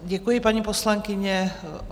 Děkuji, paní poslankyně.